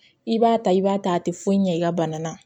I b'a ta i b'a ta a tɛ foyi ɲɛ i ka bana na